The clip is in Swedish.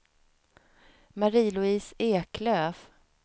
Marie-Louise Eklöf